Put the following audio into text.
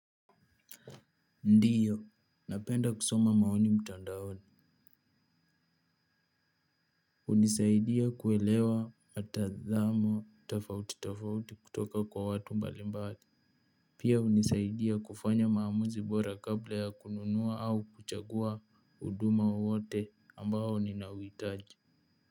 Ndiyo napenda kusoma maoni mtandaoni hunisaidia kuelewa mtazamo tofauti tofauti kutoka kwa watu mbalimbali pia hunisaidia kufanya maamuzi bora kabla ya kununua au kuchagua huduma wowote ambao ninauhitaji.